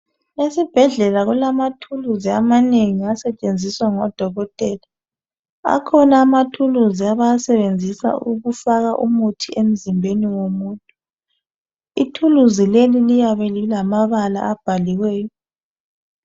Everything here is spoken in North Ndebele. Esibhedlela kulamathuluzi amanengi asetshenziswa ngodokotela, akhona amathuluzi abawasebenzisa ukufaka umuthi emzimbeni womuntu, ithuluzi leli liyabe lilamabala abhaliweyo.